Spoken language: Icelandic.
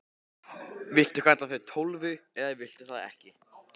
Viltu kalla þig Tólfu eða viltu það ekki?